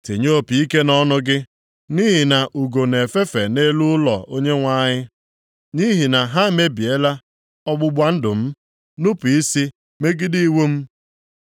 “Tinye opi ike nʼọnụ gị! Nʼihi na ugo nʼefefe nʼelu ụlọ Onyenwe anyị, nʼihi na ha emebiela ọgbụgba ndụ m, nupu isi megide iwu m.